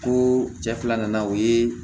Ko cɛ fila nana o ye